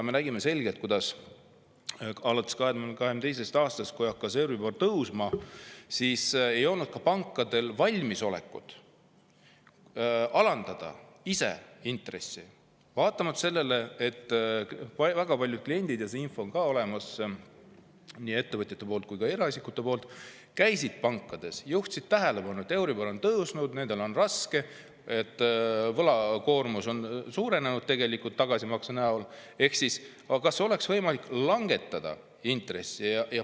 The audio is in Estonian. Me nägime selgelt, et kui alates 2022. aastast hakkas euribor tõusma, siis ei olnud pankadel valmisolekut ise intressi alandada, vaatamata sellele, et väga paljud kliendid – see info on tulnud nii ettevõtjatelt kui ka eraisikutelt – käisid pangas ja juhtisid tähelepanu, et euribor on tõusnud, neil on raske, võlakoormus on tagasimaksete tõttu suurenenud, ning küsisid, kas oleks võimalik intressi langetada.